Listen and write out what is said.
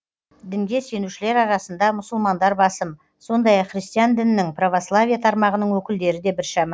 дінге сенушілер арасында мұсылмандар басым сондай ақ христиан дінінің православие тармағының өкілдері де біршама